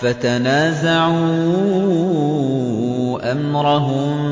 فَتَنَازَعُوا أَمْرَهُم